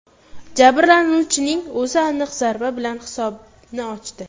Jabrlanuvchining o‘zi aniq zarba bilan hisobni ochdi.